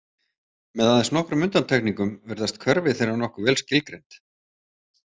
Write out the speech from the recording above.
Með aðeins nokkrum undantekningum virðast hverfi þeirra nokkuð vel skilgreind.